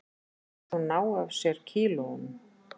Ætli hún nái af sér kílóunum